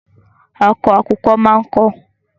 Akọ àkùkọ máa ń kọ.